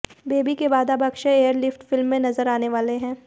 baby के बाद अब अक्षय एयरलिफ्ट फिल्म में नज़र आने वाले हैं